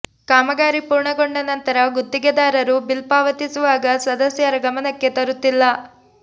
ಕಾಮಗಾರಿ ಪೂರ್ಣಗೊಂಡ ನಂತರ ಗುತ್ತಿಗೆದಾರರು ಬಿಲ್ ಪಾವತಿಸುವಾಗ ಸದಸ್ಯರ ಗಮನಕ್ಕೆ ತರುತ್ತಿಲ್ಲ